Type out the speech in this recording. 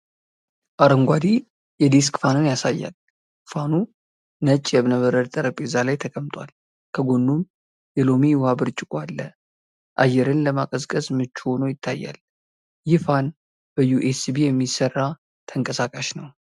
አረንጓዴ የዴስክ ፋንን ያሳያል። ፋኑ ነጭ የእብነበረድ ጠረጴዛ ላይ ተቀምጧል፣ ከጎኑም የሎሚ ውሃ ብርጭቆ አለ። አየርን ለማቀዝቀዝ ምቹ ሆኖ ይታያል። ይህ ፋን በዩኤስቢ የሚሰራ ተንቀሳቃሽ ነው?